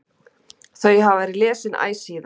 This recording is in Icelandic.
Þau hafa verið lesin æ síðan.